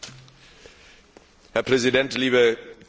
Herr Präsident, liebe Kolleginnen und Kollegen!